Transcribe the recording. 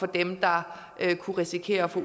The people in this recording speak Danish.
dem der kunne risikere at få